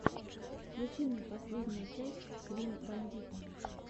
включи мне последнюю часть клин бандита